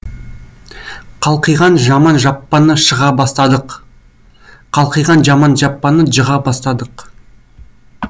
қалқиған жаман жаппаны шыға бастадық қалқиған жаман жаппаны жыға бастадық